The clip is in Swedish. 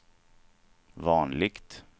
vanligt